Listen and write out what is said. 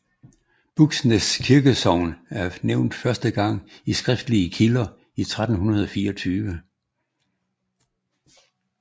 Buksnes kirkesogn er nævnt første gang i skriftlige kilder i 1324